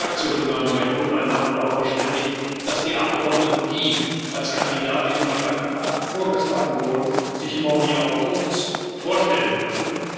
Die Fraktionen haben sich aber untereinander darauf verständigt, dass die Abgeordneten, die als Kandidatinnen oder Kandidaten vorgeschlagen wurden, sich morgen hier kurz vorstellen können.